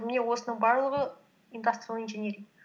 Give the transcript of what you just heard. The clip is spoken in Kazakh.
міне осының барлығы индастриал инжиниринг